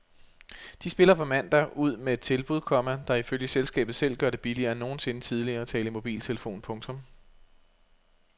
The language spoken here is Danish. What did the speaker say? De spiller på mandag ud med et tilbud, komma der ifølge selskabet selv gør det billigere end nogensinde tidligere at tale i mobiltelefon. punktum